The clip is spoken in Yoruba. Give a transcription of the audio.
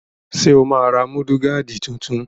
Ṣé o máa ra múdúgáàdì tuntun?